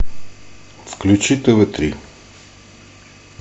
включи тв три